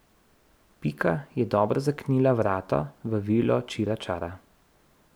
Pika je dobro zaklenila vrata v vilo Čiračara.